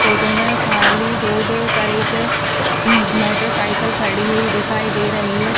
Photo में खाली road पर एक स मोटरसाइकिल खड़ी हुई दिखाई दे रही है।